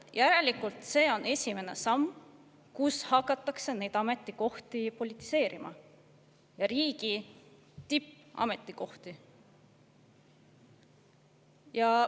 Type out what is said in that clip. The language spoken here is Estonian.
Järelikult see on esimene samm, kus hakatakse neid ametikohti politiseerima, riigi tippametikohti.